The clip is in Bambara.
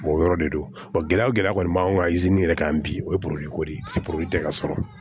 o yɔrɔ de don gɛlɛya o gɛlɛya kɔni b'an kan yɛrɛ kan bi o ye ko de ye tɛ ka sɔrɔ